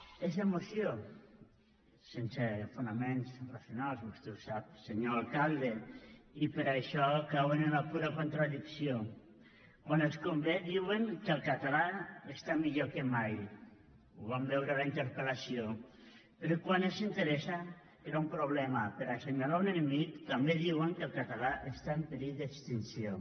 és emoció sense fonaments racionals vostè ho sap senyor alcalde i per això cauen en la pura contradicció quan els convé diuen que el català està millor que mai ho vam veure a la interpellació però quan els interessa crear un problema per assenyalar un enemic també diuen que el català està en perill d’extinció